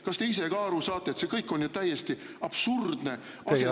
Kas te ise ka aru saate, et see kõik on ju täiesti absurdne asendustegevus …